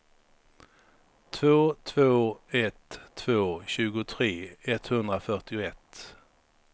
två två ett två tjugotre etthundrafyrtioett